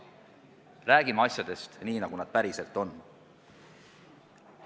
Räägime asjadest nii, nagu need päriselt on.